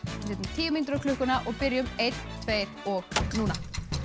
tíu mínútur á klukkuna og byrjum einn tveir og núna